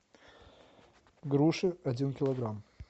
груши один килограмм